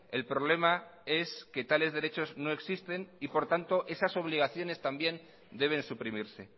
el problema es que tales derechos no existen y por tanto esas obligaciones también deben suprimirse